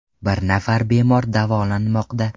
Bir nafar bemor davolanmoqda.